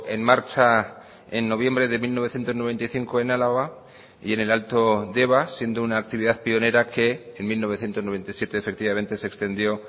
en marcha en noviembre de mil novecientos noventa y cinco en álava y en el alto deba siendo una actividad pionera que en mil novecientos noventa y siete efectivamente se extendió